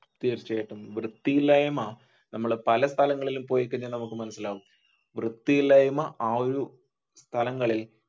തീർച്ചയായിട്ടും വൃത്തിയില്ലായ്മ നമ്മൾ പല സ്ഥലങ്ങളിൽ പോയി കഴിഞ്ഞ മനസിലാവും. വൃത്തിയില്ലായ്മ ആ ഒരു കാലങ്ങളിൽ